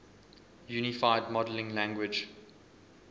unified modeling language